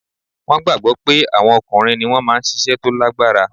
Wọn gbagbọ pé àwọn ọkùnrin ni wọ́n máa ń ṣiṣẹ́ tó lágbára